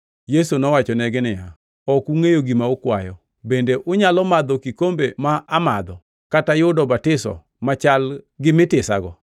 Yesu nowachonegi niya, “Ok ungʼeyo gima ukwayo. Bende unyalo madho kikombe ma amadho kata yudo batiso machal gi mitisago?”